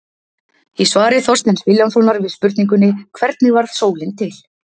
Í svari Þorsteins Vilhjálmssonar við spurningunni Hvernig varð sólin til?